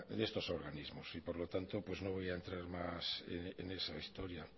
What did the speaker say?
en estos organismos y por lo tanto pues no voy a entrar más en esa historia